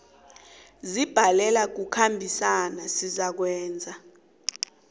zibhalelwa kukhambisana zizakwenza